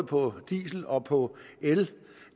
på diesel og på el